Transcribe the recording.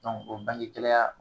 o bangegɛlaya